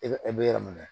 E e bɛ yɔrɔ min na